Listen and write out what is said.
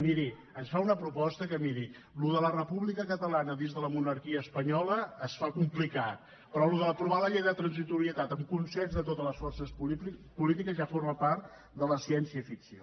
miri això de la república catalana dins de la monarquia espanyola es fa complicat però això d’aprovar la llei de transitorietat amb consens de totes les forces polítiques ja forma part de la ciència ficció